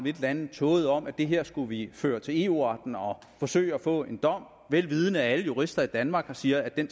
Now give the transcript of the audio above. et eller andet tåget om at det her skulle vi føre til eu retten og forsøge at få en dom vil vidende at alle jurister i danmark siger at den